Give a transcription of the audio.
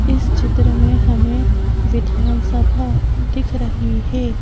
इस चित्र में हमें विधानसभा दिख रही है।